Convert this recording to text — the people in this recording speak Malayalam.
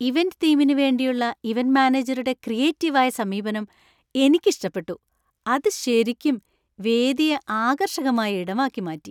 ഇവന്‍റ് തീമിനു വേണ്ടിയുള്ള ഇവന്‍റ് മാനേജരുടെ ക്രിയേറ്റീവ് ആയ സമീപനം എനിക്ക് ഇഷ്‌ടപ്പെട്ടു, അത് ശരിക്കും വേദിയെ ആകർഷകമായ ഇടമാക്കി മാറ്റി.